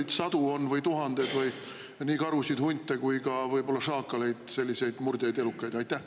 Palju sadu või tuhandeid on karusid, hunte ja võib-olla ka šaakaleid, selliseid murdjaid elukaid?